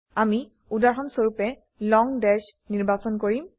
আমি উদাহৰণস্বৰুপে লং দাশ নিৰ্বাচন কৰিম